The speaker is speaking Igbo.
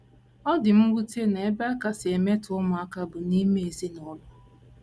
Ọ dị mwute na ebe a kasị emetọ ụmụaka bụ n’ime ezinụlọ ha.